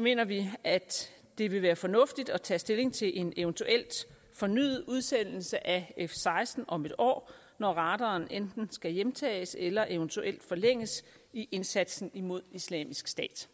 mener vi at det vil være fornuftigt at tage stilling til en eventuel fornyet udsendelse af f seksten flyene om en år når radaren enten skal hjemtages eller eventuelt forlænges i indsatsen imod islamisk stat